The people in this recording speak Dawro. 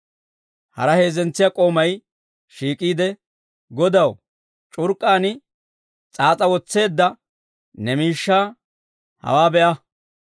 Hara heezzentsiyaa k'oomay shiik'iide, ‹Godaw, c'urk'k'aan s'aas'a wotseedda ne miishshaa hawaa be'a.